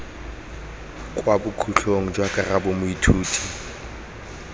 kwa bokhutlong jwa karabo moithuti